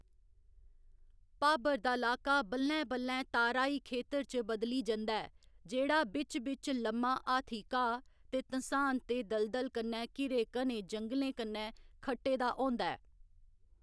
भाबर दा लाका बल्लैं बल्लैं ताराई खेतर च बदली जंदा ऐ जेह्‌‌ड़ा बिच्च बिच्च लम्मा हाथी घाऽ ते धँसान ते दलदल कन्नै घिरे घने जंगलें कन्नै खट्टे दा होंदा ऐ।